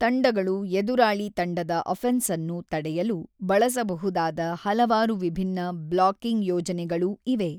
ತಂಡಗಳು ಎದುರಾಳಿ ತಂಡದ ಅಫೆನ್ಸ್ಅನ್ನು ತಡೆಯಲು ಬಳಸಬಹುದಾದ ಹಲವಾರು ವಿಭಿನ್ನ ಬ್ಲಾಕಿಂಗ್ ಯೋಜನೆಗಳೂ ಇವೆ.